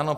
Ano.